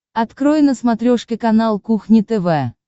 открой на смотрешке канал кухня тв